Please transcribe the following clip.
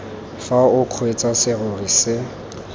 fa o kgweetsa serori se